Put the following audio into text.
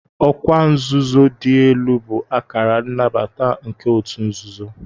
Ọkwa nzuzo dị elu bụ akara nnabata nke ọtu nzuzo.